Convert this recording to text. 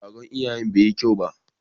Taron iyayen bai yi kyau ba.